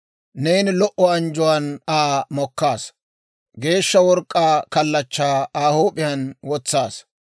Neeni lo"o anjjuwaan Aa mokkaasa; geeshsha work'k'aa kallachchaa Aa huup'iyaan wotsaasa.